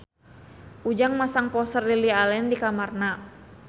Ujang masang poster Lily Allen di kamarna